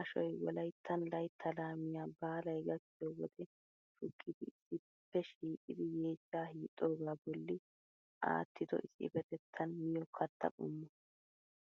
Ashoyi wolayttan laytta laamiya baalay gakkiyo wode shukkidi issippe shiiqidi yeechcha hiixxogaa bolli aattido issipetettan miyo katta qommo